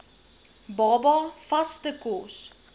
baba vaste kos